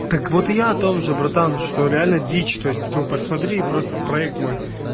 так вот и я о том же братан что реально дичь то есть ну посмотри просто в проект мой